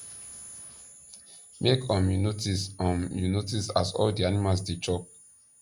make um u notice um u notice as all di animals dey chop